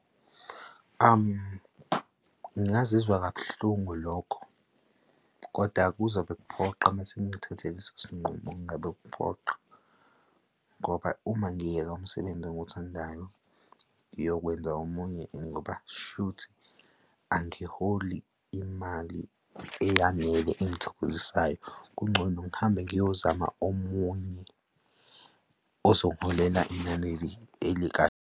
Ngingazizwa kabuhlungu lokho, koda kuzobe kuphoqa uma sengithathe leso sinqumo, kungabe kuphoqa ngoba uma ngiyeka umsebenzi engiwuthandayo ngiyokwenza omunye ngoba shuthi angiholi imali eyanele engithokozisayo, kungcono ngihambe ngiyozama omunye ozongiholela inani elikahle.